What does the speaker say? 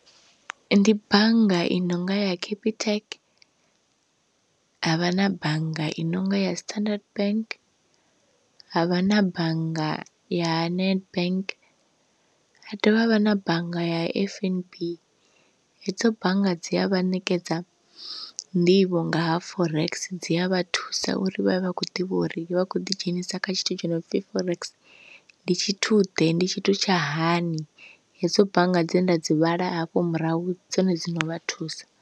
Ndi bannga i nonga ya capitec, havha na bannga i nonga ya standard bank, havha na bannga ya nedbank, ha dovha havha na bannga ya F_N_B, hedzo bannga dzi a vha ṋekedza nḓivho nga ha forex dzi a vha thusa uri vha vhe vha khou ḓivha uri vha khou ḓi dzhenisa kha tshithu tsho no pfi forex ndi tshithu ḓe ndi tshithu tsha hani, hedzo bannga dze nda dzi vhala hafho murahu dzone dzi no vha thusa.